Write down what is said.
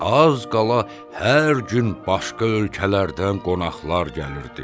Az qala hər gün başqa ölkələrdən qonaqlar gəlirdi.